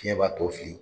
Fiɲɛ b'a tɔ fili